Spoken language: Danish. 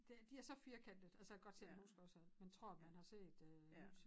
Det de er så firkantede altså jeg kan godt selv huske også at man tror man har set øh lyset